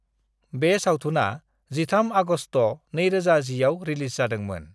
बे सावथुना 13 आगस्त 2010आव रिलिज जादोंमोन।